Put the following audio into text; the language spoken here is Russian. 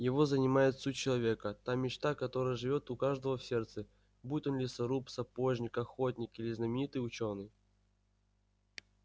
его занимает суть человека та мечта которая живёт у каждого в сердце будь он лесоруб сапожник охотник или знаменитый учёный